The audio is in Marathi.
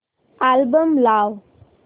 अल्बम लाव